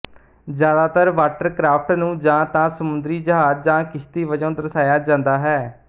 ਜ਼ਿਆਦਾਤਰ ਵਾਟਰਕ੍ਰਾਫਟ ਨੂੰ ਜਾਂ ਤਾਂ ਸਮੁੰਦਰੀ ਜਹਾਜ਼ ਜਾਂ ਕਿਸ਼ਤੀ ਵਜੋਂ ਦਰਸਾਇਆ ਜਾਂਦਾ ਹੈ